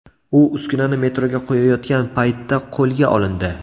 U uskunani metroga qo‘yayotgan paytda qo‘lga olindi.